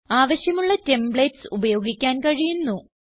ആവശ്യമുള്ള ടെംപ്ലേറ്റ്സ് ഉപയോഗിക്കാൻ കഴിയുന്നു